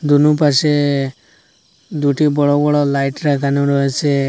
দুনু পাশে দুইটি বড়ো বড়ো লাইট রাখানো রয়েছে।